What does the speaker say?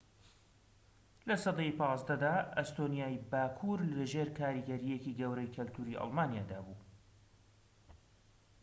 لە سەدەی ١٥ دا، ئەستۆنیای باكوور لەژێر کاریگەریەکی گەورەی کەلتوری ئەلمانیادا بوو